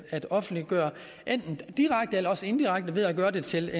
at offentliggøre enten direkte eller indirekte ved at gøre det til